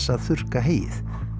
að þurrka heyið